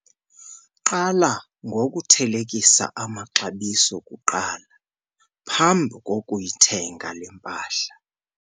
Qala ngokuthelekisa amaxabiso kuqala phambi kokuyithenga le mpahla.